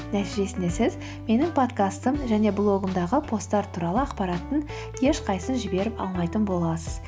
нәтижесінде сіз менің подкастым және блогымдағы посттар туралы ақпараттың ешқайсысын жіберіп алмайтын боласыз